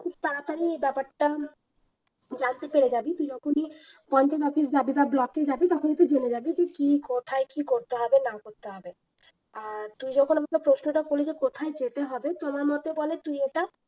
খুব তাড়াতাড়ি এ ব্যাপারটা জানতে পেরে যাবি তুই যখনই পঞ্চায়েত office জাবি বা block এ জাবি তখনই তুই জেনে যাবি যে কি কোথায় কি করতে হবে না করতে হবে আর তুই যখন আমাকে প্রশ্নটা করলি যে কোথায় যেতে হবে তো আমার মতে বলে তুই এটা